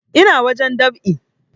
Ina wajen dab'i